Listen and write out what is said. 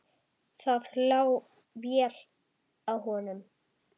Það lá vel á honum.